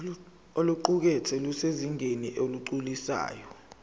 oluqukethwe lusezingeni eligculisayo